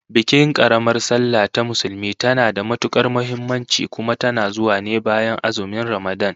Bikin karamar sallah ta Musulmi tana da matukar muhimmanci, kuma tana zuwa ne bayan azumin Ramadan